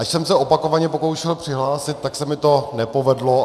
Ač jsem se opakovaně pokoušel přihlásit, tak se mi to nepovedlo.